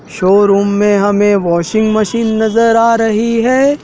Showroom मे हमे washing machine नज़र आ रही है।